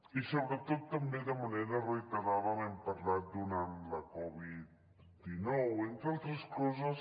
i sobretot també de manera reiterada n’hem parlat durant la covid dinou entre altres coses